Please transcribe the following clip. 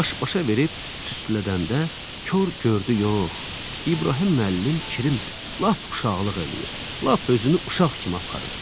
Baş-başa verib tüstülədəndə kor gördü yox, İbrahim müəllim kirimir, lap uşaqlıq eləyir, lap özünü uşaq kimi aparır.